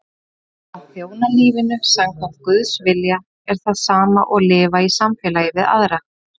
Að þjóna lífinu samkvæmt Guðs vilja er það sama og lifa í samfélagi við aðra.